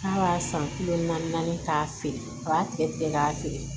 K'a b'a san kile naani k'a feere a b'a tigɛ tigɛ k'a feere